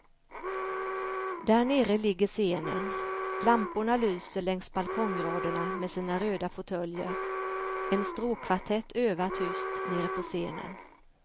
Där nere ligger scenen, lamporna lyser längs balkongraderna med sina röda fåtöljer, en stråkkvartett övar tyst nere på scenen.